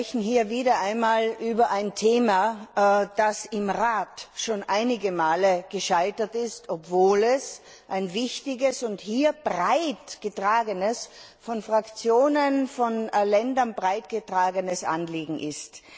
Wir sprechen hier wieder einmal über ein Thema, das im Rat schon einige Male gescheitert ist, obwohl es ein wichtiges und hier von Fraktionen und Ländern breit getragenes Anliegen ist.